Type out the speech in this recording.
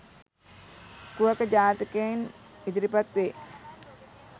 කුහක ජාතකයෙන් ඉදිරිපත් වේ.